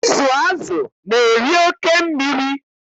Ịzụ azụ na-eri oke mmiri.